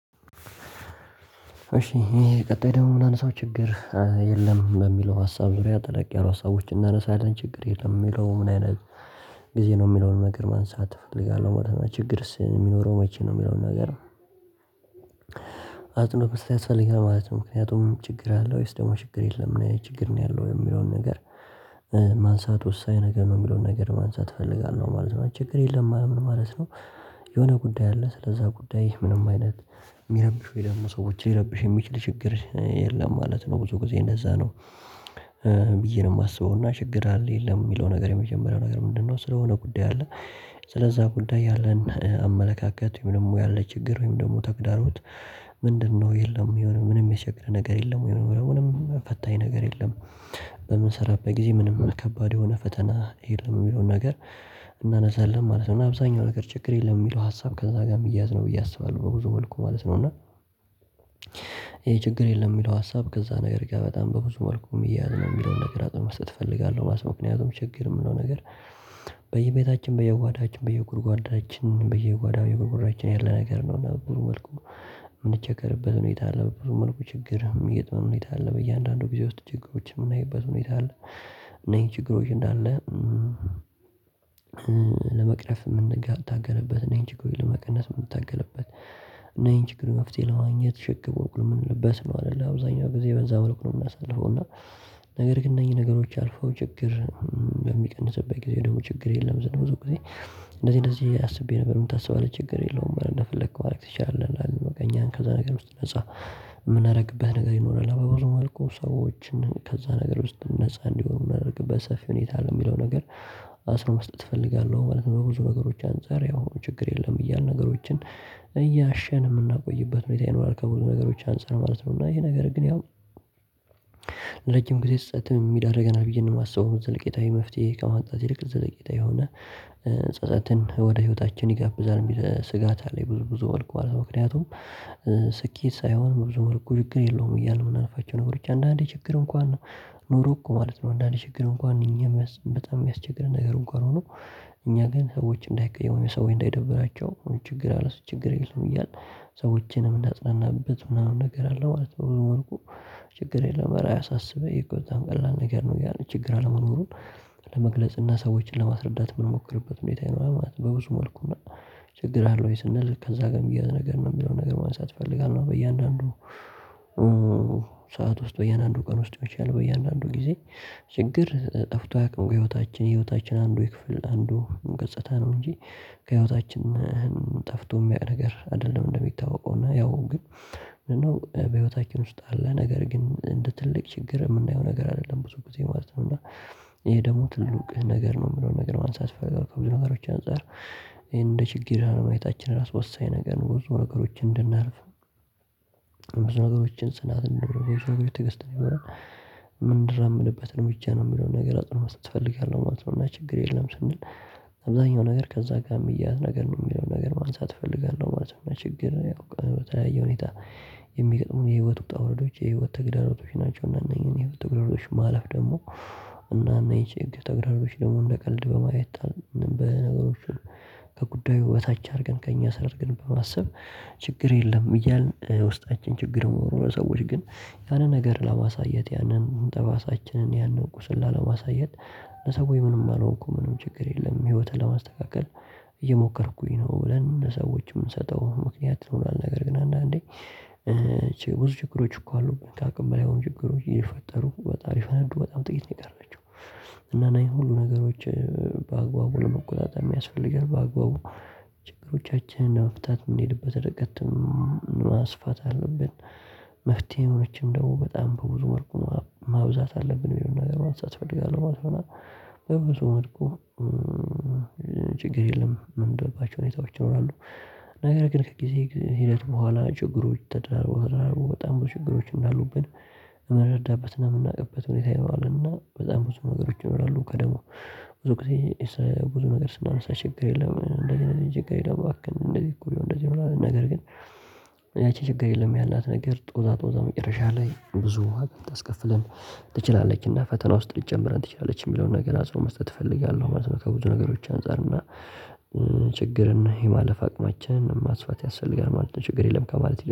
እሺ ይሄ ቀጣይ ደግሞ የምናነሳው ችግር የለም በሚለው ሀሳብ ዙሪያ ጠለቅ ያሉ ሀሳቦችን እናነሳለን ችግር የለም የሚለው ምን አይነት ጊዜ ነው የሚለውን ነገር ማንሳት እፈልጋለሁ ማለት ነው። ችግርስ የሚኖረው መቼ ነው የሚለውን ነገር አጽንቶ ያስፈልጋል ማለት ነው። ምክንያቱም ችግር አለ ወይስ ደግሞ ችግር የለም ምንአይነት ችግር ነው ያለው የሚለውን ነገር ማንሳት ወሳኝ ነገር ነው የሚለውን ነገር ማንሳት እፈልጋለሁ ማለት ነው። ችግር የለም ማለት ምን ማለት ነው? የሆነ ጉዳይ አለ ስለዛ ጉዳይ ምንም አይነት የሚረብሽ ወይ ደግሞ ሰዎች ሊረብሽ የሚችል ችግር የለም ማለት ነው ብዙ ጊዜ እንደዛ ነው። ብዬ ነው የማስበው እና ችግር አለ የለም የሚለው ነገር የመጀመሪያው ነገር ምንድነው ስለሆነ ጉዳይ አለ። ስለዛ ጉዳይ ያለን አመለካከት ወይም ደግሞ ያለ ችግር ወይም ደግሞ ተግዳሮት? ምንድነው የለም የሆነ ምንም የቸገረ ነገር የለም የሆነ ወይም የሆነ ምንም ፈታኝ ነገር የለም። በምንሰራበት ጊዜ ምንም ከባድ የሆነ ፈተና የለም የሚለውን ነገር እናነሳለን ማለት ነው። እና አብዛኛው ነገር ችግር የለም የሚለው ሀሳብ ከዛ ጋር የሚያያዝ ነው ብዬ አስባለሁ በብዙ መልኩ ማለት ነው። እና ይሄ ችግር የለም የሚለው ሀሳብ ከዛ ነገር ጋ በጣም በብዙ መልኩ የሚያያዝ ነው የሚለውን ነገር አጽኖት መስጠት እፈልጋለሁ ማለት ነው። ምክንያቱም ችግር የምለው ነገር በየቤታችን በየጓዳችን በየጉድጓዳችን በየጓዳው የጉድጓዳችን ያለ ነገር ነው። እና ብዙ መልኩ የምንቸገርበት ሁኔታ በብዙ መልኩ ችግር የሚጥመን ሁኔታ አለ በእያንዳንዱ ጊዜ ውስጥ ችግሮችን የምናይበት ሁኔታ አለ። እኔ ችግሮች እንዳለ ለመቅረፍ የምንታገልበት ይሄን ችግሩን ለመቀነስ የምንታገልበት እና ይሄን ችግር መፍትሄ ለማግኘት ችግር ወቅሉ ነው የምንልበት ነው አይደለ አብዛኛው ጊዜ በዛ መልኩ ነው የምናሳልፈው እና። ነገር ግን እነኚህ ነገሮች አልፈው ችግር በሚቀንስበት ጊዜ ደግሞ ችግር የለም ብዙ ጊዜ። እንደዚህ እንደዚህ አስቤ ነበር ምንታስባህ ችግር የለውም አረ እንደፈለከው ማድረግ ትችላለህ። እና እኛን ከዛ ነገር ውስጥ ነፃ የምናደርግበት ነገር ይኖራል አበባ ብዙ መልኩ ሰዎችን ከዛ ነገር ውስጥ ነፃ እንዲሆን መደረግ በሰፊው ሁኔታ ለሚለው ነገር አጽኖት መስጠት እፈልጋለሁ ማለት ነው። ብዙ ነገሮች አንፃር ያው ችግር የለም እያልን ነገሮችን እያሸን የምናቆይበት ሁኔታ ይኖራል። ከብዙ ነገሮች አንፃር ማለት ነው እና ይሄ ነገር ግን ያው ለረጅም ጊዜ ጸጸትም የሚዳርገናል ብዬ ነው የማስበው። ዘለቄታዊ መፍትሄ ከማምጣት ይልቅ ዘለቄታ የሆነ ጸጸትን ወደ ህይወታችን ይጋብዛል የሚል ስጋት አለኝ። ብዙ ብዙ መልኩ ማለት ነው። ምክንያቱም ስኬት ሳይሆን ብዙ መልኩ ችግር የለውም እያልን የምናልፋቸው ነገሮች አንድአንዴ ችግር እንኳን ኖሮ እኮ ማለት ነው። አንዳንዴ ችግር እንኳን እኛም በጣም የሚያስቸግርን ነገር እንኳን ሆኖ እኛ ግን ሰዎች እንዳይቀየሙን ወይ ሰዎች እንዳይደብራቸው ችግር አለ ስት ችግር የለውም እያልን ሰዎችንም እምናጽናናበት ምናምን ነገር አለ ማለት ነው። በብዙ መልኩ ችግር የለውም እረ አያሳብ ይሄ እኮ በጣም ቀላል ነገር ነው እያልን ችግር አለመኖሩን ለመግለጽ እና ሰዎችን ለማስረዳት የምንሞክርበት ሁኔታ ይኖራል። ማለት በብዙ መልኩ ችግር አለ ወይ ስንል ከዛ ጋር የሚያያዝ ነገር ነው የሚለውን ነገር ማንሳት እፈልጋለሁ። በያንዳንዱ ሰዓት ውስጥ በያንዳንዱ ቀን ውስጥ ይመቻል በእያንዳንዱ ጊዜ ችግር ጠፍቶ አያቅም ከህይወታችን የህይወታችን አንዱ የክፍል አንዱ ገጽታ ነው። እንጂ ከህይወታችን ጠፍቶ የሚያውቅ ነገር አይደለም። እንደሚታወቀው እና ያው ግን በህይወታችን ውስጥ አለ ነገር ግን እንደ ትልቅ ችግር የምናየው ነገር አይደለም ብዙ ጊዜ ማለት ነው። እና ይሄ ደግሞ ትልቅ ነገር ነው የምለው ነገር ማንሳት ፈልገው ከብዙ ነገሮች አንፃር ይሄን እንደ ችግር አለማየታችን ራሱ ወሳኝ ነገር ብዙ ነገሮችን እንድናልፍ ብዙ ነገሮችን ጽናት እንዲኖር ብዙ ነገር ትዕግስት እንዲኖረን እምንራመድበት እርምጃ ነው የሚለውን ነገር አጽንኦት መስጠት እፈልጋለሁ ማለት ነው። እና ችግር የለም ስንል አብዛኛው ነገር ከዛ ጋር የሚያያዝ ነገር ነው የሚለውን ነገር ማንሳት እፈልጋለሁ ማለት ነው። ችግር ያው በተለያየ ሁኔታ የሚገጥሙን የህይወት ውጣ ውረዶች የህይወት ተግዳሮቶች ናቸው። እና እነኚህን የህይወት ተግዳሮቶች ማለፍ ደግሞ እና እነዚህ ጭንቅላት ደግሞ እንደ ቀልድ በማየት በነገሮች ከጉዳዩ በታች አድርገን ከእኛ ስራ አርገን በማሰብ ችግር የለም። እያልን ውስጣችን ችግር የምኖረው ሰዎች ግን ያንን ነገር ላማሳየት ያንን ጠባሳችንን ያንን ቁስል ላለማሳየት ለሰው ወይ ምንም አልሆንኩ ምንም ችግር የለም ህይወትን ለማስተካከል እየሞከርኩኝ ነው ብለን ሰዎች የምንሰጠው ምክንያት ይኖራል። ነገር ግን አንዳንዴ ብዙ ችግሮች እኮ አሉብን ከአቅም በላይ የሆኑ ችግሮች የፈጠሩ በጣም ሊፈነዱ በጣም ጥቂት ነው የቀራቸው። እና እነዚህ ሁሉ ነገሮች በአግባቡ ለመቆጣጠር የሚያስፈልገን በአግባቡ ችግሮቻችን ለመፍታት የምንሄድበት እርቀት ማስፋት አለብን። መፍትሄዎችም ደግሞ በጣም በብዙ መልኩ ማብዛት አለብን የሚለውን ነገር ማንሳት እፈልጋለሁ ማለት ነው። በብዙ መለኩ ችግር የለም ምንልባቸው ሁኔታዎች ይኖራሉ። ነገር ግን ከጊዜ ሂደት በኋላ ችግሮች ተደራርበው ተደራርበው በጣም ብዙ ችግሮች እንዳሉብን እምንረዳበትና የምናውቅበት ሁኔታ ይኖራል። እና በጣም ብዙ ነገሮች ይኖራሉ ከደግሞ ብዙ ጊዜ ብዙ ነገር ስናነሳ ችግር የለም እንደ እንደዚህ ችግር የለም እንደዚህ እኮ እንደዚህ ነገር ግን። ያቺ ችግር የለም ያላት ነገር ጦዛ ጦዛ መጨረሻ ላይ ብዙ ዋጋ ልታስከፍለን ትችላለችና ፈተና ውስጥ ልትጨምረን ትችላለች። የሚለውን ነገር አጽኖት መስጠት እፈልጋለሁ ማለት ነው። ከብዙ ነገሮች አንፃር እና ችግርን የማለፍ አቅማችንን ማስፋት ያስፈልጋል ማለት ነው። ችግር የለም ከማለት ይልቅ